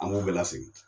An b'u bɛɛ lasegin